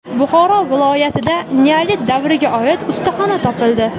Buxoro viloyatida neolit davriga oid ustaxona topildi.